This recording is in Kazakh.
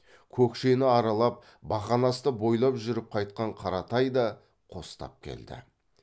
көкшені аралап бақанасты бойлап жүріп қайтқан қаратай да қостап келді